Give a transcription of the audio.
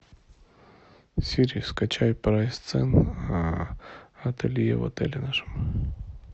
сири скачай прайс цен ателье в отеле нашем